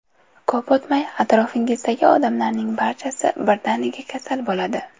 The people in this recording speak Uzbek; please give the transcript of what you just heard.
Ko‘p o‘tmay atrofingizdagi odamlarning barchasi birdaniga kasal bo‘ladi.